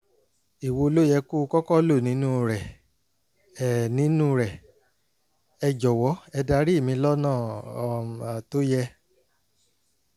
èwo ló yẹ kó kọ́kọ́ lò nínú rẹ̀? ẹ nínú rẹ̀? ẹ jọ̀wọ́ ẹ darí mi lọ́nà um tó yẹ